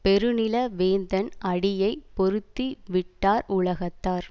பெருநில வேந்தன் அடியை பொருத்தி விட்டார் உலகத்தார்